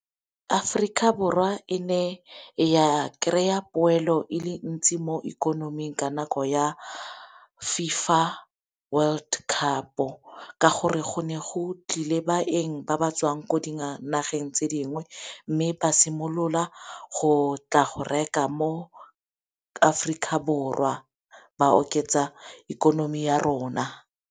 Aforika Borwa e ne ya kry-a poelo e le ntsi mo ikonoming ka nako ya FIFA World Cup-o, ka gore go ne go tlile baeng ba ba tswang ko dinageng tse dingwe mme ba simolola go tla go reka mo Aforika Borwa ba oketsa ikonomi ya rona.